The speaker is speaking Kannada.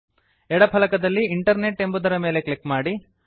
ಎಡ ಫಲಕದಲ್ಲಿ ಇಂಟರ್ನೆಟ್ ಎಂಬುದರ ಮೇಲೆ ಕ್ಲಿಕ್ ಮಾಡಿ